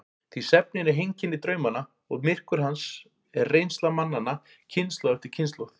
Því svefninn er heimkynni draumanna og myrkur hans er reynsla mannanna kynslóð eftir kynslóð.